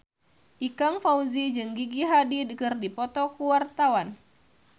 Ikang Fawzi jeung Gigi Hadid keur dipoto ku wartawan